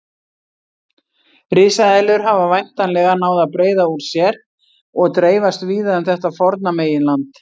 Risaeðlur hafa væntanlega náð að breiða úr sér og dreifast víða um þetta forna meginland.